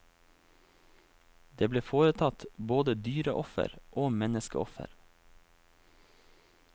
Det ble foretatt både dyreoffer og menneskeoffer.